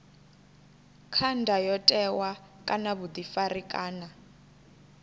kha ndayotewa kana vhuḓifari kana